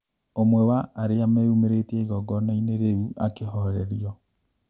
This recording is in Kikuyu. ũmwe wa arĩa meyũmĩrĩtie igongona-inĩ rĩu akĩhorerio